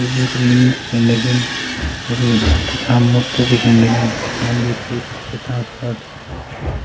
शिवजी कु लिंग दिखेंण लग्युं और ये तथा मूर्ति दिखेंण लगीं मंदिर की ।